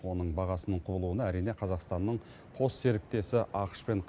оның бағасының құбылуына әрине қазақстанның қос серіктесі ақш пен